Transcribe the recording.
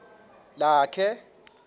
lakhe